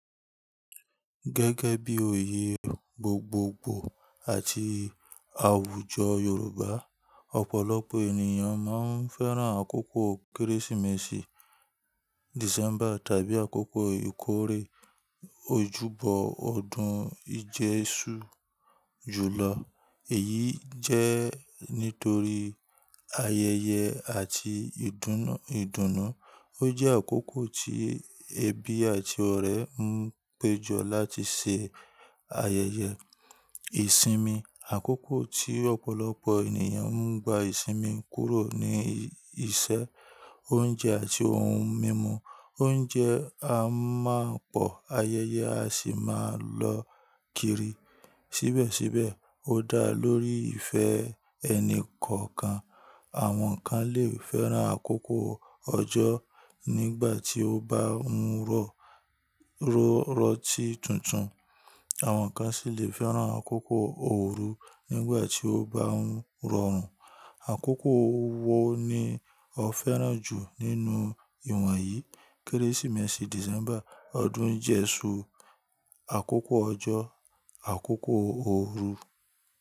Gẹ́gẹ́ bí òye gbogbogbò àti àwùjọ Yorùbá, ọ̀pọ̀lọpọ̀ ènìyàn máa ń fẹ́ràn àkókò Kérésìmesì, December tàbí àkókò ìkórè ojúbọ ọdún ìjẹ́ṣu jù lọ. Èyí jẹ́ nítorí ayẹyẹ àti ìdùnnú. Ó jẹ́ àkókò tí ẹbí àti ọ̀rẹ́ ń péjọ láti ṣe ayẹyẹ ìsinmi. Àkókò tí ọ̀pọ̀lọpọ̀ ènìyàn ń gba ìsinmi kúrò ní iṣẹ́, oúnjẹ àti ohun mímu. Oúnjẹ a máa pọ̀, ayẹyẹ a sì máa lọ kiri. Síbẹ̀síbẹ̀ ó dá lórí ìfẹ́ ẹni kọ̀ọ̀kan. Àwọn kan lè fẹ́ràn àkókò ọjọ́ nígbà tí ó bá ń rọrọ́ ti tuntun, àwọn kan sì lè fẹ́ràn àkókò ooru nígbà tí ó bá ń rọrùn. Àkókò wo ni o fẹ́ràn jù nínú ìwọ̀nyí: Kérésìmesì December, ọdún ìjẹ́ṣu, àkókò ọjọ́, àkókò ooru?